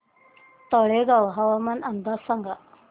तळेगाव हवामान अंदाज सांगा